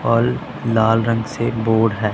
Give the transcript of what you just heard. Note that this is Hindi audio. और लाल रंग से बोर्ड है।